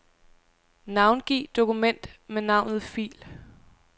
Navngiv dokument med navnet fil.